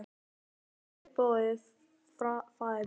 Nú er vel boðið faðir minn.